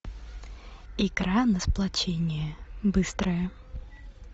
игра на сплочение быстрая